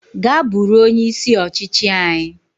Gaa buru onye isi ọchịchị anyi